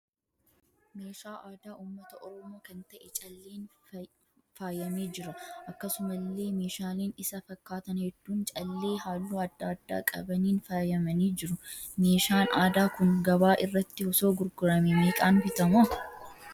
Meeshaa aadaa uummata Oromoo kan ta'ee calleen faayyamee jira. Akkasumallee meeshaaleen isa fakkaatan hedduun callee halluu adda addaa qabaniin faayyamanii jiru. Meeshaan aadaa kun gabaa irratti osoo gurguramee meeqaan bitama?